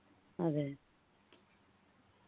അതെ